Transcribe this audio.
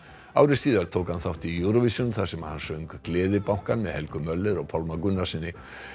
ári síðar tók hann þátt í Eurovision þar sem hann söng Gleðibankann með Helgu Möller og Pálma Gunnarssyni